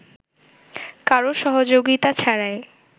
কারো সহযোগিতা ছাড়াই